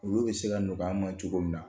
Olu bɛ se ka nɔgɔya ma cogo min na